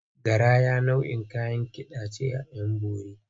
Garaya nau’in Kayan Kida ce at ‘Yanbori.